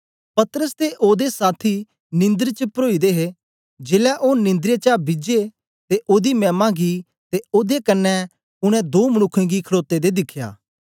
पतरस ते ओदे साथी निंदर च परोई दे हे जेलै ओ निंद्रे चा बिजे ते ओदी मैमा गी ते ओदे कन्ने उनै दो मनुक्खें गी खडोते दें दिखया